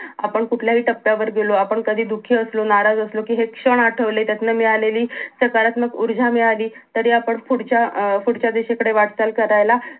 आपण कुठल्याही टप्यावर गेलो आपण कधी दुखी असलो नाराज असलो कि हे क्षण आठवले त्यातनं मिळालेली सकारात्मक ऊर्जा मिळाली तरी आपण पुढच्या अं पुढच्या दिशेकडे वाटचाल करायला